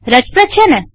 રસપ્રદ છેને